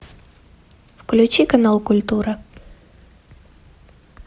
включи канал культура